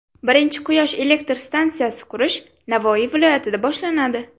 Birinchi quyosh elektr stansiyasi qurish Navoiy viloyatida boshlanadi.